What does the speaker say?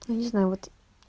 не знаю вот